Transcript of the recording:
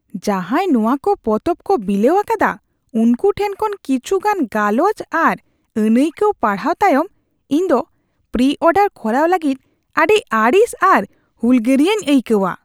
ᱡᱟᱦᱟᱭ ᱱᱚᱣᱟ ᱠᱚ ᱯᱚᱛᱚᱵ ᱠᱚ ᱵᱤᱞᱟᱹᱣ ᱟᱠᱟᱫᱟ ᱩᱱᱠᱩ ᱴᱷᱮᱱ ᱠᱷᱚᱱ ᱠᱤᱪᱷᱩᱜᱟᱱ ᱜᱟᱞᱚᱪ ᱟᱨ ᱟᱹᱱᱟᱹᱭᱠᱟᱹᱣ ᱯᱟᱲᱦᱟᱣ ᱛᱟᱭᱚᱢ ᱤᱧ ᱫᱚ ᱯᱨᱤᱼᱚᱰᱟᱨ ᱠᱚᱨᱟᱣ ᱞᱟᱹᱜᱤᱫ ᱟᱹᱰᱤ ᱟᱹᱲᱤᱥ ᱟᱨ ᱦᱩᱞᱜᱟᱹᱨᱤᱭᱟᱹᱧ ᱟᱹᱭᱠᱟᱹᱣᱟ ᱾